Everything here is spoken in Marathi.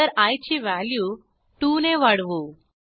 नंतर आय ची व्हॅल्यू 2ने वाढवू